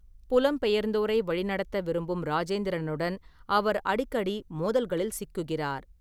புலம்பெயர்ந்தோரை வழிநடத்த விரும்பும் ராஜேந்திரனுடன் அவர் அடிக்கடி மோதல்களில் சிக்குகிறார்.